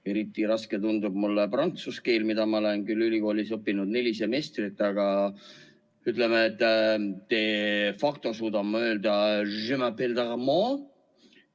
Eriti raske tundub mulle prantsuse keel, mida ma olen ülikoolis õppinud küll neli semestrit, aga de facto suudan ma öelda: "Je m'apelle Tarmo.